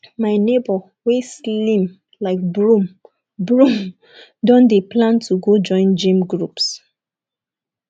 my nebor wey slim like broom broom don dey plan to go join gym groups